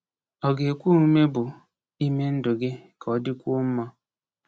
Ọ ga-ekwe omume bụ ime ndụ gị ka ọ dịkwuo mma?